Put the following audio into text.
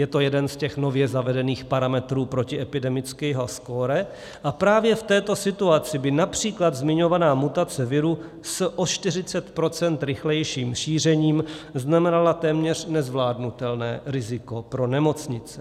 Je to jeden z těch nově zavedených parametrů protiepidemického skóre a právě v této situaci by například zmiňovaná mutace viru s o 40 % rychlejším šířením znamenala téměř nezvládnutelné riziko pro nemocnice.